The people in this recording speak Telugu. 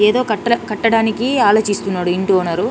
ఏదో కట్టడానికి ఆలోచిస్తున్నాడు.ఇంటి ఓనర్ ఉహ్ .